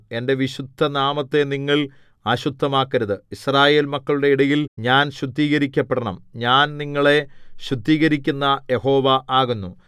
എന്റെ വിശുദ്ധനാമത്തെ നിങ്ങൾ അശുദ്ധമാക്കരുത് യിസ്രായേൽ മക്കളുടെ ഇടയിൽ ഞാൻ ശുദ്ധീകരിക്കപ്പെടണം ഞാൻ നിങ്ങളെ ശുദ്ധീകരിക്കുന്ന യഹോവ ആകുന്നു